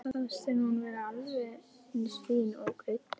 Svo fannst henni hún vera alveg eins fín ógreidd.